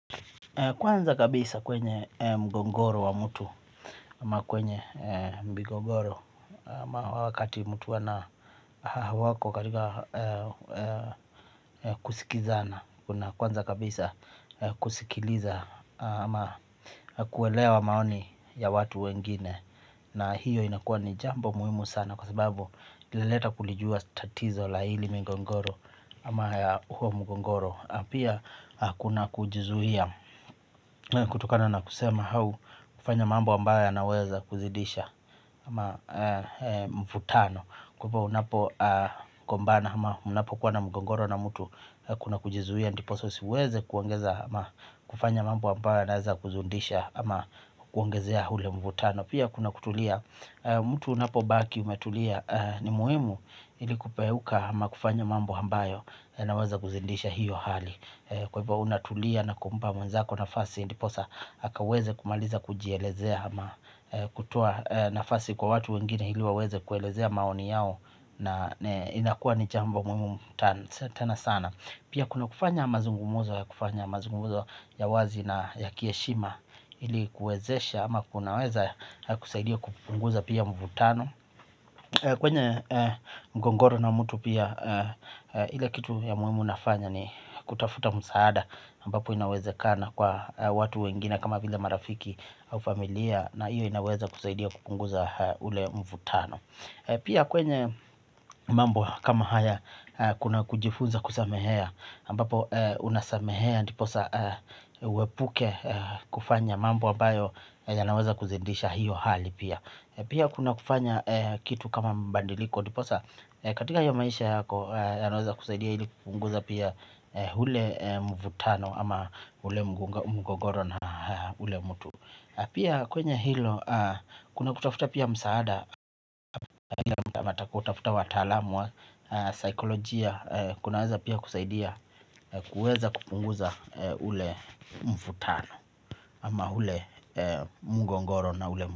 Kwanza kabisa kwenye mgogoro wa mtu ama kwenye migogoro ama wakati mtu hawako katika kusikizana. Kwanza kabisa kusikiliza ama kuelewa maoni ya watu wengine na hiyo inakuwa ni jambo muhimu sana kwa sababu inaleta kulijua tatizo la hili migogoro ama ya huo mgogoro pia kuna kujizuia. Kutokana na kusema au kufanya mambo ambayo yanaweza kuzidisha ama mvutano kwa hivyo unapogombana ama mnapokuwa na mgogoro na mtu kuna kujizuia ndiposa usiweze kuongeza ama kufanya mambo ambayo yanaweza kuzidisha ama kuongezea ule mvutano pia kuna kutulia. Mtu unapobaki umetulia ni muhimu ili kuepuka ama kufanya mambo ambayo yanaweza kuzidisha hiyo hali kwa hivyo unatulia na kumpa mwenzako nafasi ndiposa akaweze kumaliza kujielezea ama kutoa nafasi kwa watu wengine ili waweze kuelezea maoni yao. Na inakuwa ni jambo muhimu tena sana pia kuna kufanya mazungumzo ya kufanya mazungumzo ya wazi na ya kiheshima ili kuwezesha ama kunaweza kusaidia kupunguza pia mvutano. Kwenye mgogoro na mtu pia ile kitu ya muhimu nafanya ni kutafuta msaada ambapo inawezekana kwa watu wengine kama vile marafiki au familia na hiyo inaweza kusaidia kupunguza ule mvutano. Pia kwenye mambo kama haya kuna kujifunza kusamehea ambapo unasamehea ndiposa uepuke kufanya mambo ambayo yanaweza kuzidisha hiyo hali pia. Pia kuna kufanya kitu kama mabadiliko ndiposa katika hiyo maisha yako yanaweza kusaidia ili kupunguza pia ule mvutano ama ule mgogoro na ule mtu pia kwenye hilo kuna kutafuta pia msaada kutafuta wataalamu wa saikolojia kunaweza pia kusaidia kuweza kupunguza ule mvutano ama ule mgogoro na ule.